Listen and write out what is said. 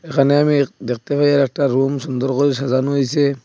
এখানে আমি দেখতে পাই আর একটা রুম সুন্দর করে সাজানো হইসে।